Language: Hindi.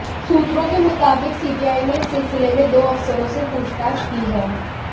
सूत्रों के मुताबिक सीबीआई ने इस सिलसिले में दो अफसरों से पूछताछ की है